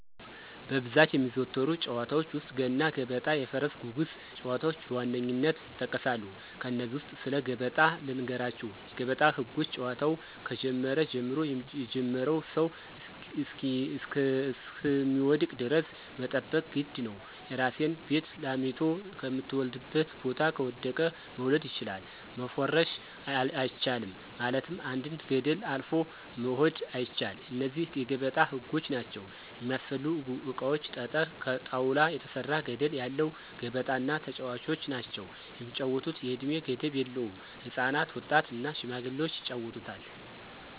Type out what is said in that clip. በብዛት የሚዘወተሩ ጨዋታዎች ውስጥ፦ ገና ገበጣ የፈረስ ጉጉስ ጨዋታዎች በዋነኝነት ይጠቀሳሉ። ከነዚህ ውስጥ ስለ ገበጣ ልንገራችሁ የገበጣ ህጎች ጨዋታው ከጀመረ ጀምሮ የጀመረው ሰው እሰሚወድቅ ደረስ መጠበቅ የግድ ነው፦ የራሲን ቤት ላሚቶ ከምተወልድበት ቦታ ከወደቀ መውሰድ ችላል፣ መፎረሽ አቻልም ማለትም አንድን ገደል አልፎ መሆድ አይቻል እነዚህ የገበጣ ህጎች ናቸው። የሚስፈልጉ እቃዎች ጠጠረ፣ ከጣውላ የተሰራ ገደለ ያለው ገበጣ እና ተጨዋቾች ናቸው። የሚጫወቱት የእድሜ ገደብ የለውም ህፃናት፣ ወጣት እና ሽማግሌዎች ይጫወቱታል።